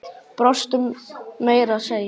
Brostu meira að segja.